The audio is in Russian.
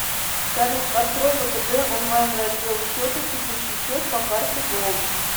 салют открой втб онлайн раздел счета текущий счет по карте голд